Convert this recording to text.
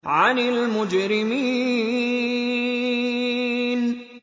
عَنِ الْمُجْرِمِينَ